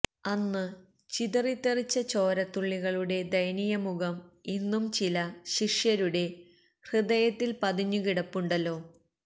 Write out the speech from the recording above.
അന്ന് ചിതറിത്തെറിച്ച ചോരത്തുള്ളികളുടെ ദയനീയമുഖം ഇന്നും ചില ശിഷ്യരുടെ ഹൃദയത്തില് പതിഞ്ഞുകിടപ്പുണ്ടല്ലോ